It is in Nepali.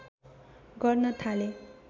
गर्न थाले